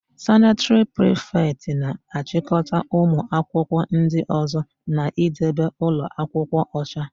Sanịtịrị prịfetị na-achịkọta ụmụakwụkwọ ndị ọ̀zọ́ na-idebe ụlọakwụkwọ ọcha.